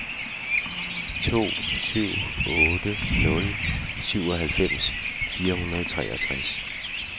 to syv otte nul syvoghalvfems fire hundrede og treogtres